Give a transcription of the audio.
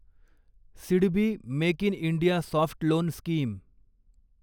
SIDBI make in India soft loan scheme